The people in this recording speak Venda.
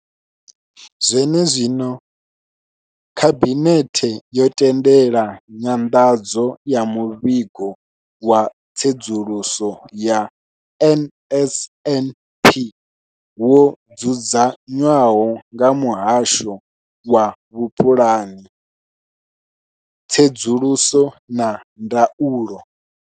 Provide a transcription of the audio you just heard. Zwenezwino, Khabinethe yo tendela nyanḓadzo ya Muvhigo wa Tsedzuluso ya NSNP wo dzudzanywaho nga Muhasho wa Vhupulani, Tsedzuluso na Ndaulo.